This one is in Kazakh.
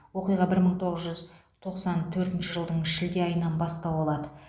оқиға бір мың тоғыз жүз тоқсан төртінші жылдың шілде айынан бастау алады